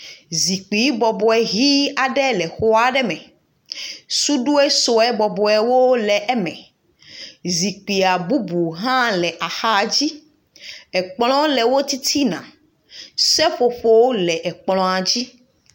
Zikpi bɔbɔe hi aɖe le xɔ aɖe me sudoe sue bɔbɔwo le eme zikpuia bubu hã le axa dzi ekplɔ le wo titina seƒoƒowo le ekplɔa dzi.